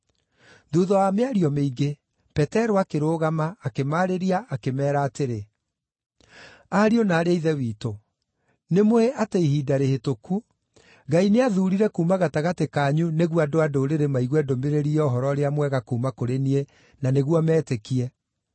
Thuutha wa mĩario mĩingĩ, Petero akĩrũgama, akĩmarĩria, akĩmeera atĩrĩ, “Ariũ na aarĩ a Ithe witũ, nĩmũũĩ atĩ ihinda rĩhĩtũku, Ngai nĩathuurire kuuma gatagatĩ kanyu nĩguo andũ-a-Ndũrĩrĩ maigue ndũmĩrĩri ya Ũhoro-ũrĩa-Mwega kuuma kũrĩ niĩ na nĩguo metĩkie.